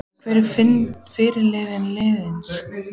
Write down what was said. Hver er fyrirliði liðsins?